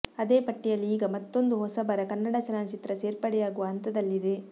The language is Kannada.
ಅದೇ ಪಟ್ಟಿಯಲ್ಲಿ ಈಗ ಮತ್ತೂಂದು ಹೊಸಬರ ಕನ್ನಡ ಚಲನಚಿತ್ರ ಸೇರ್ಪಡೆಯಾಗುವ ಹಂತದಲ್ಲಿದೆ